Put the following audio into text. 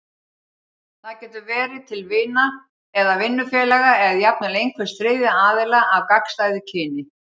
Það getur verið til vina eða vinnufélaga, eða jafnvel einhvers þriðja aðila af gagnstæðu kyni.